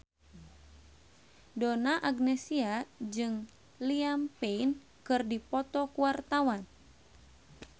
Donna Agnesia jeung Liam Payne keur dipoto ku wartawan